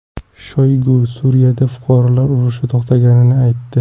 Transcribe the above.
Shoygu Suriyada fuqarolar urushi to‘xtaganini aytdi.